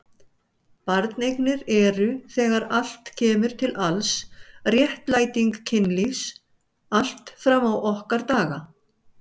Barneignir eru þegar allt kemur til alls réttlæting kynlífs allt fram á okkar daga.